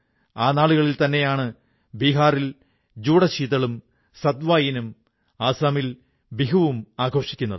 ആ നാളുകളിൽതന്നെയാണ് ബീഹാറിൽ ജുഡശീതളുംസത് വായിനും ആസാമിൽ ബിഹൂ വും ആഘോഷിക്കുന്നത്